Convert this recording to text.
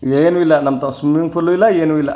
ಏನು ಇಲ್ಲಾ ನಮ್ಮ್ ತವ್ ಸ್ವಿಮ್ಮಿಂಗ್ ಫುಲ್ ಇಲ್ಲಾ ಏನು ಇಲ್ಲಾ.